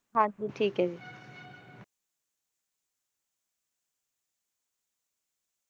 ਹਾਂ ਜੀ ਠੀਕ ਹੈ ਜੀ